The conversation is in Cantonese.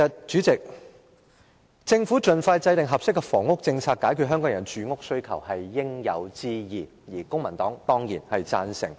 主席，政府盡快制訂合適的房屋政策，解決香港人的住屋需求，是應有之義，公民黨也當然贊成。